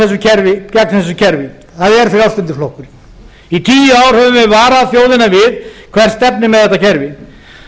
harðast barist gegn þessu kerfi það er frjálslyndi flokkurinn í tíu ár höfum við varað þjóðina við hvert stefnir með þetta kerfi